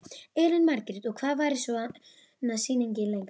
Elín Margrét: Og hvað varir svona sýning lengi?